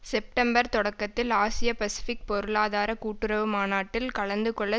September தொடக்கத்தில் ஆசிய Pacific பொருளாதார கூட்டுறவு மாநாட்டில் கலந்து கொள்ள